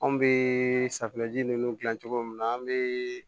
Anw bɛ safinɛji ninnu dilan cogo min na an bɛ